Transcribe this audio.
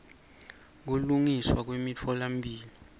kulungiswa nemitfola mphilo